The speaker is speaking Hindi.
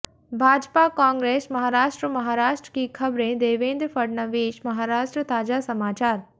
भाजपा कांग्रेस महाराष्ट्र महाराष्ट्र की खबरें देवेंद्र फडणवीस महाराष्ट्र ताजा समाचार